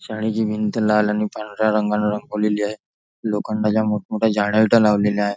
शाळेची भिंत लाल आणि पांढऱ्या रंगाने रंगवलेली आहे लोखंडाच्या मोठमोठ्या जाड्या विटा लावलेल्या आहे.